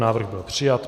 Návrh byl přijat.